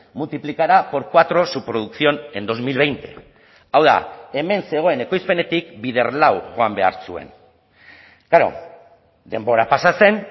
multiplicará por cuatro su producción en dos mil veinte hau da hemen zegoen ekoizpenetik bider lau joan behar zuen klaro denbora pasa zen